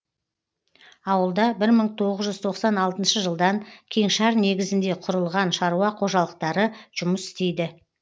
ауылда бір мың тоғыз жүз тоқсан алтыншы жылдан кеңшар негізінде құрылған шаруа қожалықтары жұмыс істейді